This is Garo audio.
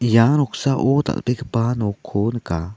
ia noksao dal·begipa nokko nika.